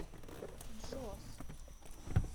джос